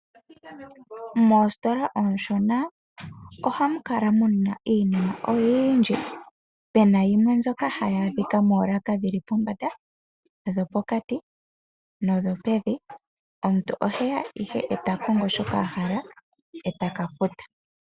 Moositola oonshona ohamu kala muna iinima oyindji. Opuna mbyoka hayi adhika poolaka dhili pombanda, dhopokati, nodhopevi. Omuntu oheya ihe e takongo shoka ahala, e taka futa.